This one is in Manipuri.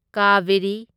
ꯀꯥꯚꯦꯔꯤ